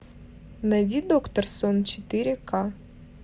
найди доктор сон четыре ка